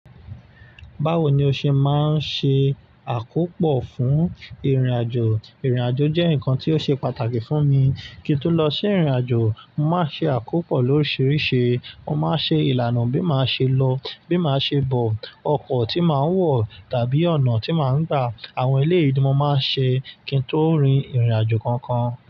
Báwo ni o ṣe máa ń ṣe àkópọ fún ìrìnàjò? Ìrìnàjò jẹ́ nǹkan tí ó ṣe pàtàkì fún mi. Kí n tó lọ sí ìrìnàjò, mo màá ṣe àkópò lóríṣiríṣi. Mo máa ṣe ìlànà bí màá ṣe lọ, bí màá ṣe bọ̀, ọkọ̀ tí màá wọ̀ tàbí ọ̀nà tí màá gbà, àwọn eleyi ni mo máa ṣe kí n tó rin ìrìnàjò kankan.